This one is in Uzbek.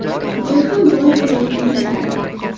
Men ham boy bo‘layin degandim”.